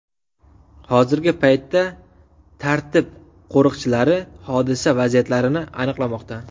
Hozirgi paytda tartib qo‘riqchilari hodisa vaziyatlarini aniqlamoqda.